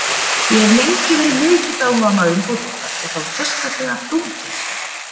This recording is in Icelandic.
Ég hef lengi verið mikill áhugamaður um fótbolta og þá sérstaklega dómgæslu.